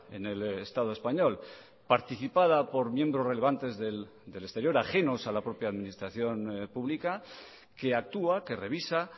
en el estado español participada por miembros relevantes del exterior ajenos a la propia administración pública que actúa que revisa